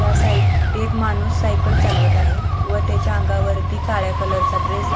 एक माणूस सायकल चालवत आहे व त्याच्या अंगावरती काळ्या कलर चा ड्रेस आहे.